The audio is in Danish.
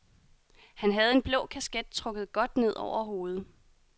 Han havde en blå kasket trukket godt ned over hovedet.